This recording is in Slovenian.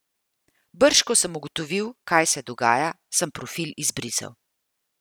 Brž ko sem ugotovil, kaj se dogaja, sem profil izbrisal.